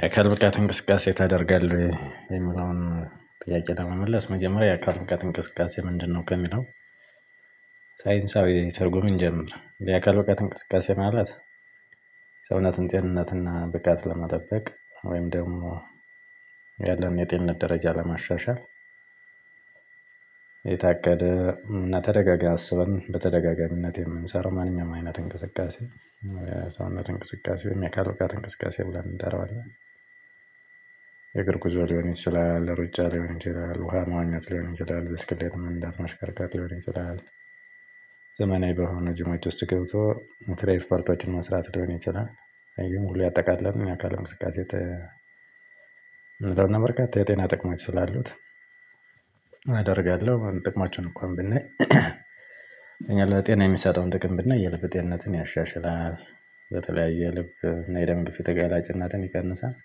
የአካል ብቃት እንቅስቃሴ ታደርጋለህ የሚለውን ጥያቄ ለመመለስ መጀመሪያ የአካል ብቃት እንቅስቃሴ ምንድነው? ከሚለው ሳይንሳዊ ትርጉም እንጀምር የአካል ብቃት እንቅስቃሴ ማለት ሰውነትን ጤንነትን ብቃትን ለመጠበቅ ወይም ደግሞ ያለን የጤንነት ደረጃ ለማሻሻል የታገደ እና ተደጋጋሚ አስበን በተደጋጋሚነት የምንሰራው ማንኛውም አይነት እንቅስቃሴ የሰውነት እንቅስቃሴ የአካል ብቃት እንቅስቃሴ ብለን እንጠራዋለን። የእግር ጉዞ ሊሆን ይችላል ሩጫ ሊሆን ይችላል ውሃ መዋኘት ሊሆን ይችላል ብስክልት መንዳት ማሽከርከር ሊሆን ይችላል። ዘመናዊ በሆነ ጅሞች ውስጥ ገብቶ ኢንተራይት ፐርቶችን መስራት ሊሆን ይችላል ይሄን ሁሉ ያጠቃለለ የአካል እንቅስቃሴ። ተነስተናል በርካታ የጤና ጥቅማች ስላሉት አደርጋለሁ ጥቅማችሁን እንኳን ብናይ። እኛ ለጤና የሚሰጠውን ጥቅም ብናይ የልብ ጤንነትን ያሻሽላል። የትለያዩ የልብ ና የደም ግፊት ተጋላጭነትን ይቀንሳል።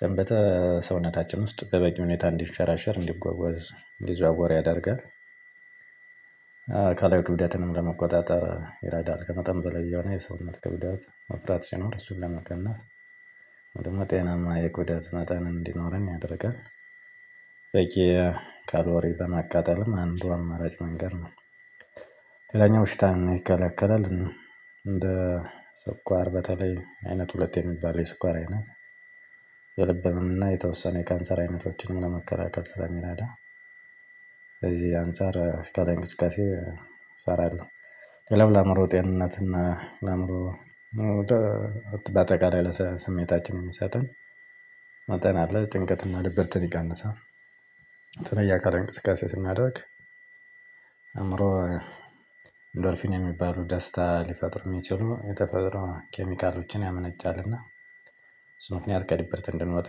ደም በሰውነታችን ውስጥ በበቂ ሁኔታ እንዲንሸራሸር እንዲጓጓዝ እንዲዘዋወር ያደርጋል። አካላዊ ክብደትንም ለመቆጣጠር ይረዳል ከመጠን በላይ የሆነ የሰውነት ክብደት መፍራት ሲኖር እሱን ለመቀነስ። ጤናማ የክብደት መጠን እንዲኖረን ያደርጋል። በቂ ካሎሪን ለማቃጠልም አንዷ አማራጭ መንገድ ነው። ሌላኛው ሽታ ይከለከላል። እንደ ስኳር በተለይ አይነት ሁለቴ የሚባል የስኳር አይነት። የልብ ህመም እና የተወሰነ የካንሰር አይነቶችንም ለመከላከል ስለሚረዳ። ለዚህ አንፃር እስከ አካላዊ እንቅስቃሴ እሰራለሁ። ሌላው ለአምሮ ጤንነትና ለአእምሮ በአጠቃላይ ለስሜታችን የምስጠን መጠን አለ ጭንቀት እና ድብርትን ይቀንሳል። የተለየ አካላዊ እንቅስቃሴ ስናደርግ አእምሮ ዶርፊኒያ የሚባሉ ደስታ ሊፈጥሩ የሚችሉ የተፈጥሮ ኬሚካሎችን ያመነጫልና። በሱ ምክንያት ከድብርት እንድንወጣ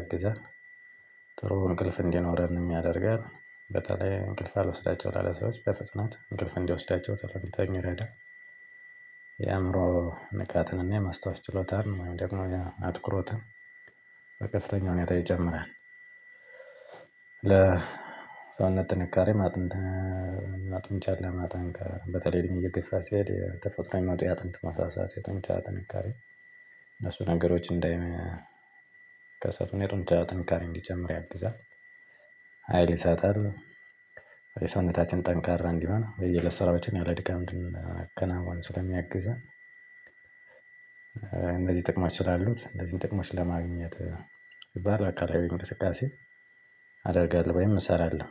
ያግዛል። ጥሩ እንቅልፍ እንዲኖረን ያደርጋል። በተለይ እንቅልፍ አልወስዳቸው ላለ ሰዎች በፍጥነት እንቅልፍ እንዲወስዳቸው ቶሎ እንዲተኙ ይረዳል። የአእምሮ ንቃትንና የማስታወስ ችሎታን ወይም ደግሞ አትኩሮትን በከፍተኛ ሁኔታ ይጨምራል። ለሰውነት ጥንካሬ አጥንት እና ጡንቻን ለማጠንከር በተለይ እድሜ እየገፋ ሲሄድ ተፈጥሮ የሚመጡ የአጥንት መሳሳት የጡንቻ ጥንካሬ። እነሱ ነገሮች እንዳይከሰቱ የጡንጫቻ ጥንካሬ እንዲጨምር ያግዛል። ሀይል ይሳጣል። የሰውነታችን ጠንካራ እንዲሆን ወይ ስራዎችን ያለ ድካም እንድናከናውን ስለሚያግዘን። እንደዚህ ጥቅሞች ስላሉት እንደዚህ ጥቅሞች ለማግኘት ሲባል አካላዊ አደርጋለሁ አደርጋለሁ ወይም እሰራለሁ።